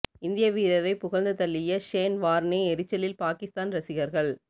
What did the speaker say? இந்திய வீரரை புகழ்ந்து தள்ளிய ஷேன் வார்னே எரிச்சலில் பாகிஸ்தான் ரசிகர்கள்